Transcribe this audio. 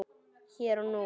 Hér og nú.